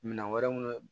Minɛn wɛrɛ minnu